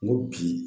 N ko bi